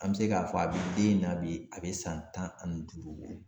An bɛ se k'a fɔ a bɛ den in na bi a bɛ san tan ani duuru bɔ.